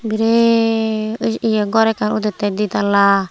biret ghor ekkan udette di tala.